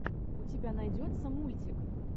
у тебя найдется мультик